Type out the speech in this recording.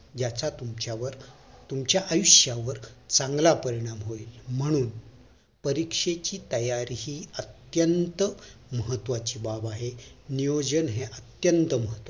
याचा तुमच्यावर तुमच्या आयुष्य वर चांगला परिणाम होईल म्हणून परीक्षेची तयारी हि अत्यंत महत्वाची बाब आहे नियोजन हे अत्यंत महत्वाचं